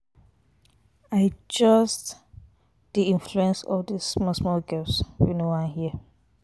I just dey Influence all dis small small girls wey no wan hear.